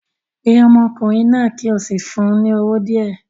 Pe ọmọkùnrin náà kí o sì fún un ní owó díẹ̀